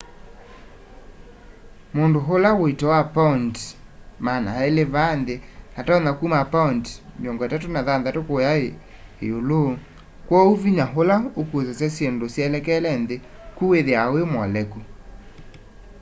mundu wa uito wa paundi 200 vaa nthi atonya kuma paundi 36 kuya io kwoou vinya ula ukusasya syindu syelekele nthi ku withiawa wi muoleku